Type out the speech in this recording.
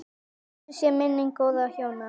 Blessuð sé minning góðra hjóna.